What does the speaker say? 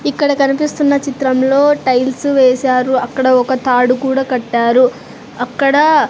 ఇక్కడ కనిపిస్తున్న చిత్రంలో టైల్స్ వేశారు అక్కడ ఒక తాడు కూడా కట్టారు అక్కడ.